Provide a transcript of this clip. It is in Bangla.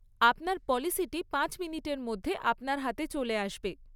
আপনার পলিসিটি পাঁচ মিনিটের মধ্যে আপনার হাতে চলে আসবে।